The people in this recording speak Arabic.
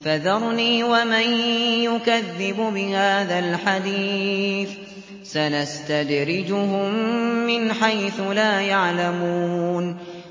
فَذَرْنِي وَمَن يُكَذِّبُ بِهَٰذَا الْحَدِيثِ ۖ سَنَسْتَدْرِجُهُم مِّنْ حَيْثُ لَا يَعْلَمُونَ